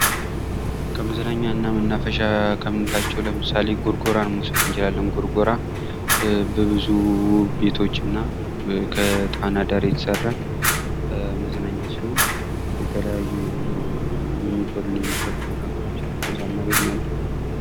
ከመዝናኛና መናፈሻ ከምንላቸው ለምሳሌ ጎርጎራ መውሰድ እንችላለን ጎርጎራ በብዙ ቤቶችና ከጣና ዳር የተሰራ መዝናኛ ሲሆን የተለያዩ የሚበሉና የሚጠጡ ነገሮችንም ከዛ እናገኛለን ::